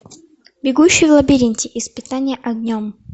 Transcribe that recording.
бегущий в лабиринте испытание огнем